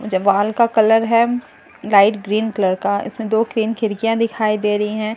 जब वाल का कलर है लाइट ग्रीन कलर का इसमे दो तीन खिड़कियां दिखाई दे रही हैं एक बोर्ड --